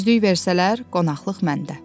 100-lük versələr, qonaqlıq məndə.